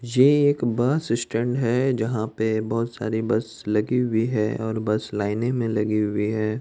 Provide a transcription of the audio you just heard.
ये एक bus stand है जहां पे बोहोत सारी बस लगी हुई है और बस लाइन मे लगी हुई है।